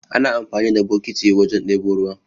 Ana amfani da bokiti wajen ɗebo ruwa